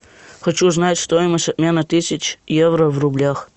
хочу узнать стоимость обмена тысяч евро в рублях